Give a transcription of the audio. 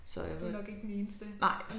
Så jeg ved nej